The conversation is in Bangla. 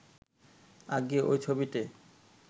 আজ্ঞে ঐ ছবিটে